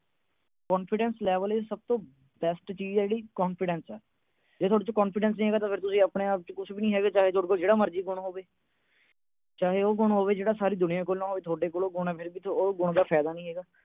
confidence level ਚ best ਚੀਜ ਹੈ ਜਿਹੜੀ confidence ਜੇ ਤੁਹਾਡੇ ਚ ਚ confidence ਨਹੀਂ ਹੈਗਾ, ਤਾਂ ਤੁਸੀਂ ਆਪਣੇ-ਆਪ ਚ ਕੁਛ ਨਹੀਂ ਹੈਗੇ, ਭਾਵੇਂ ਤੁਹਾਡੇ ਕੋਲ ਜਿਹੜਾ ਮਰਜੀ ਗੁਣ ਹੋਵੇ। ਚਾਹੇ ਤੁਹਾਡੇ ਕੋਲ ਉਹ ਗੁਣ ਹੋਵੇ, ਜਿਹੜਾ ਸਾਰੀ ਦੁਨੀਆ ਕੋਲ ਨਾ ਹੋਵੇ, ਫਿਰ ਵੀ ਉਹ ਗੁਣ ਦਾ ਫਾਇਦਾ ਨਹੀਂ ਹੈਗਾ।